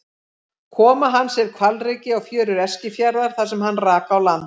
Koma hans er hvalreki á fjörur Eskifjarðar þar sem hann rak á land.